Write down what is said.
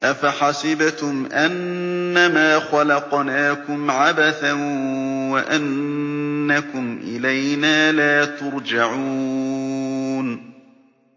أَفَحَسِبْتُمْ أَنَّمَا خَلَقْنَاكُمْ عَبَثًا وَأَنَّكُمْ إِلَيْنَا لَا تُرْجَعُونَ